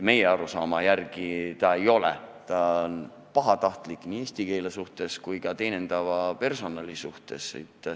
Meie arusaama järgi ei ole ta intelligentne, ta on pahatahtlik nii eesti keele kui ka teenindava personali suhtes.